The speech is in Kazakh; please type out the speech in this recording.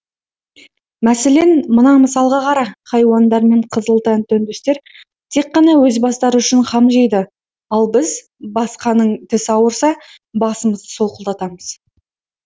мәселен мына мысалға қара хайуандар мен қызыл тәнді үндістер тек қана өз бастары үшін қам жейді ал біз басқаның тісі ауырса басымызды солқылдатамыз